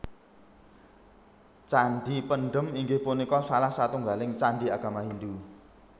Candhi Pendhem inggih punika salah satunggaling candhi agami Hindhu